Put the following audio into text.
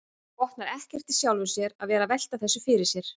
Botnar ekkert í sjálfum sér að vera að velta þessu fyrir sér.